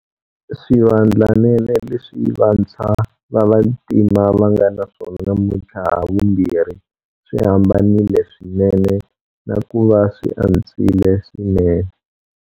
Swivandlanene leswi va ntshwa va vantima va nga naswona namuntlha havumbirhi swi hambanile swinene na ku va swi antswile swinene.